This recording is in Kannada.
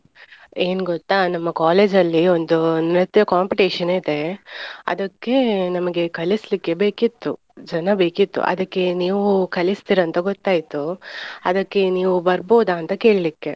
ಏನ್ ಗೊತ್ತಾ ನಮ್ಮ college ಅಲ್ಲಿ ಒಂದು ನೃತ್ಯ competition ಇದೆ ಅದಕ್ಕೆ ನಮಗೆ ಕಳಿಸ್ಲಿಕ್ಕೆ ಬೇಕಿತ್ತು ಜನ ಬೇಕಿತ್ತು. ಅದಕ್ಕೆ ನೀವು ಕಲಿಸ್ತಿರಂತ ಗೊತ್ತಾಯ್ತು. ಅದಕ್ಕೆ ನೀವು ಬರ್ಬೋದ ಅಂತ ಕೇಳಿಕ್ಕೆ.